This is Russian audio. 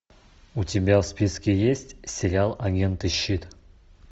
у тебя в списке есть сериал агенты щит